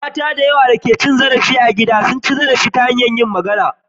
Mata da yawa da ke fama da cin zarafin gida suna cin zarafi ta hanyar magana.